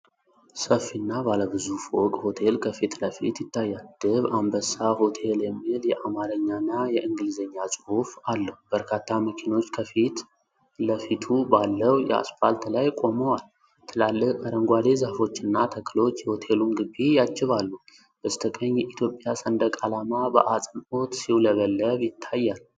ሰፊና ባለ ብዙ ፎቅ ሆቴል ከፊት ለፊት ይታያል፤ "ደብ አንበሳ ሆቴል" የሚል የአማርኛና የእንግሊዝኛ ጽሑፍ አለው። በርካታ መኪኖች ከፊት ለፊቱ ባለው የአስፓልት ላይ ቆመዋል፤ ትላልቅ አረንጓዴ ዛፎችና ተክሎች የሆቴሉን ግቢ ያጅባሉ። በስተቀኝ የኢትዮጵያ ሰንደቅ ዓላማ በአጽንዖት ሲውለበለብ ይታያል።